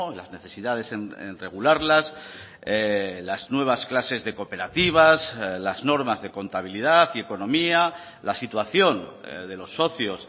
las necesidades en regularlas las nuevas clases de cooperativas las normas de contabilidad y economía la situación de los socios